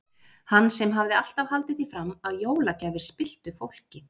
Hann sem hafði alltaf haldið því fram að jólagjafir spilltu fólki.